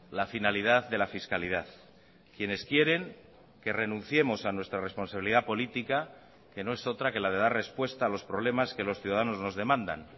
la finalidad de la fiscalidad quienes quieren que renunciemos a nuestra responsabilidad política que no es otra que la de dar respuesta a los problemas que los ciudadanos nos demandan